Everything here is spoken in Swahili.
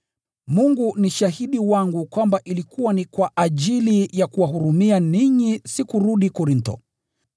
Mungu ni shahidi wangu kwamba ilikuwa ni kwa ajili ya kuwahurumia ninyi sikurudi Korintho.